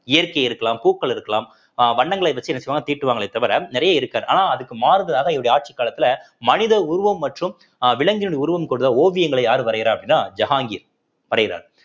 இயற்கை இருக்கலாம் பூக்கள் இருக்கலாம் அஹ் வண்ணங்களை வச்சு என்ன செய்வாங்க தீட்டுவாங்களே தவிர நிறைய இருக்காது ஆனா அதுக்கு மாறுதலாக இவருடைய ஆட்சிக்காலத்தில மனித உருவம் மற்றும் அஹ் விலங்குகளின் உருவம் கூடுற ஓவியங்களை யாரு வரையறா அப்படின்னா ஜஹாங்கீர் வரையிறாரு